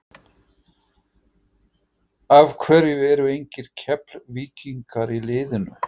Af hverju eru engir Keflvíkingar í liðinu?